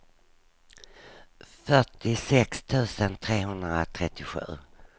fyrtiosex tusen trehundratrettiosju